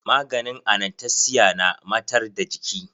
Maganin anastesiya na matar da jiki.